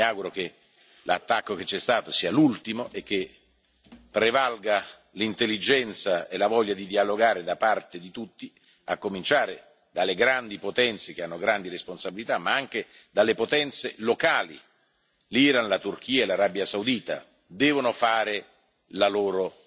Io mi auguro che l'attacco compiuto sia l'ultimo e che prevalga l'intelligenza e la voglia di dialogare da parte di tutti, a cominciare dalle grandi potenze che hanno grandi responsabilità, ma anche le potenze locali Iran, Turchia, Arabia Saudita devono fare la loro